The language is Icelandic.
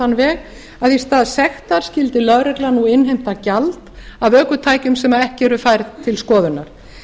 þann veg að í stað sekta skyldi lögreglan nú innheimta gjald af ökutækjum sem ekki eru færð til skoðunar